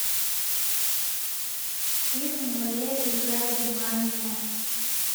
фильм валерии гай германики